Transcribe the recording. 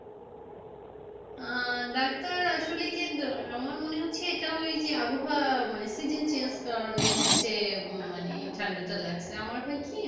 আহ doctor আসলে গিয়ে কি আমার মনে হচ্ছে এটা ওই যে আবহাওয়া মানে season change কারণ এ হচ্ছে উম মানে ঠান্ডাটা লাগছে আমার হয় কি,